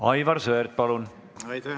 Aivar Sõerd, palun!